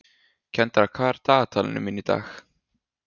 Kendra, hvað er á dagatalinu mínu í dag?